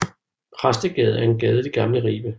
Præstegade er en gade i det gamle Ribe